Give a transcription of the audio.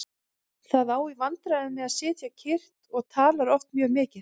Það á í vandræðum með að sitja kyrrt og talar oft mjög mikið.